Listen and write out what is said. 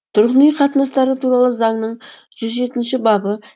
тұрғын үй қатынастары туралы заңның жүз жетінші бабы